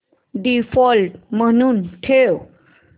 default म्हणून ठेव